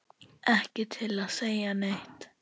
Ekki til að segja neitt.